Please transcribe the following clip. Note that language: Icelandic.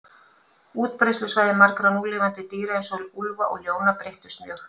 Útbreiðslusvæði margra núlifandi dýra, eins og úlfa og ljóna, breyttust mjög.